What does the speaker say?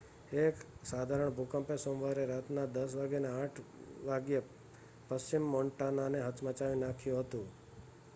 એક સાધારણ ભૂકંપે સોમવારે રાતના 10:08 વાગ્યે પશ્ચિમ મોન્ટાનાને હચમચાવી નાખ્યું હતું